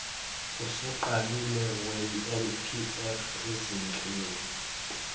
osuqalile wenlpf ezinhleni